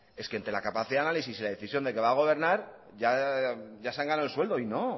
es que entre la capacidad de análisis y la decisión de que va a gobernar ya se han ganado el sueldo y no